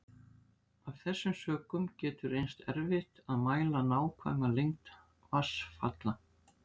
Af þessum sökum getur reynst erfitt að mæla nákvæma lengd vatnsfalla.